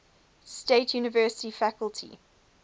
state university faculty